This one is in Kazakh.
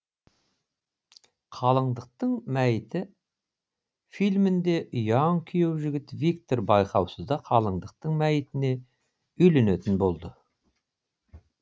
қалыңдықтың мәйіті фильмінде ұяң күйеу жігіт виктор байқаусызда қалыңдықтың мәйітіне үйленетін болды